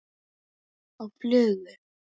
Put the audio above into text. Á flugu?